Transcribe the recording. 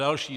Další -